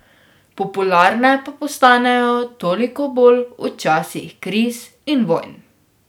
Popularne pa postanejo toliko bolj v časih kriz in vojn.